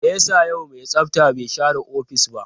Me yasa yau mai tsafta bai share ofis ba?